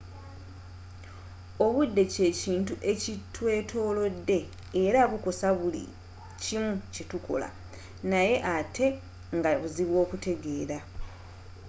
obudde kyekintu ekitwetolodde era bukosa buli kimu kyetukola naye ate nga buzibu okutegeera